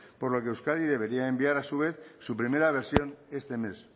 por lo que euskadi debería enviar a su vez su primera versión este mes